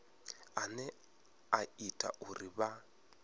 ane a ita uri vha